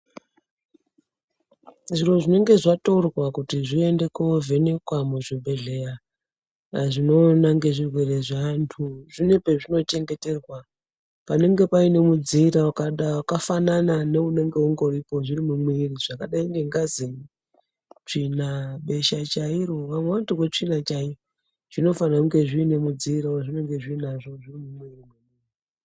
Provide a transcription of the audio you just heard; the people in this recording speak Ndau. Zviro zvinenge zvatorwa kuti zviende koovhenekwa muzvibhedhleya zvinoona ngezvirwere zveantu zvine pezvinochengeterwa panenge paine mudziira wakafanana neunenge ungoripo zviri mumwiri zvakadai nengazi, tsvina, besha chairo. Vamwe vanotorwe tsvina chaiyo zvinofanire kunge zviine mudziira wazvinenge zviinazvo zviri mumwiri.